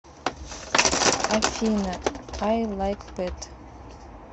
афина ай лайк пэт